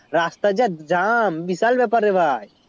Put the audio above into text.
রাস্তা যা jam বিশাল ব্যাপার রে ভাই